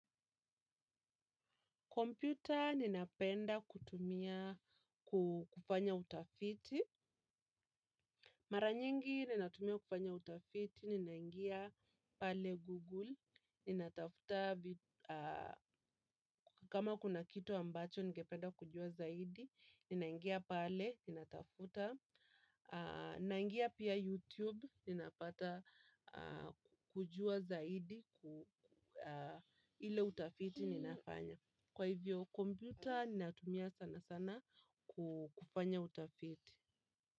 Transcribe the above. Computer ninapenda kutumia kufanya utafiti. Mara nyingi ninatumia kufanya utafiti, ninangia pale Google. Kama kuna kitu ambacho, ningependa kujua zaidi. Ninangia pale, ninatafuta. Nangia pia YouTube, ninapata kujua zaidi ile utafiti ninafanya. Kwa hivyo, komputa natumia sana sana kufanya utafiti.